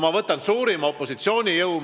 Ma võtan näiteks suurima opositsioonijõu.